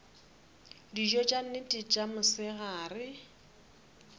dijo tša nnete tša mosegare